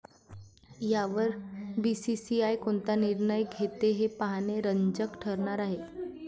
यावर बीसीसीआय कोणता निर्णय घेते हे पाहणे रंजक ठरणार आहे.